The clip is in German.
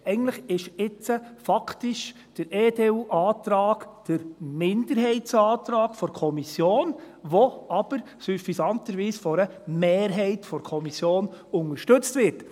eigentlich ist jetzt faktisch der EDU-Antrag der Minderheitsantrag der Kommission, der aber süffisanterweise von einer Mehrheit der Kommission unterstützt wird.